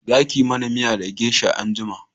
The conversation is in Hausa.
Za ki mana miya da gesha anjima!